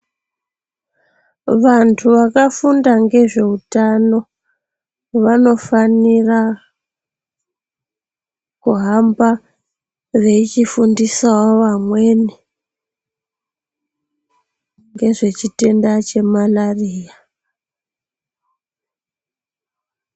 Vantu vakafunda ngezveutano vanofanira kuhamba veichifundisawo vamweni ngezvechitenda chemarariya.